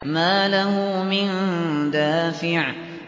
مَّا لَهُ مِن دَافِعٍ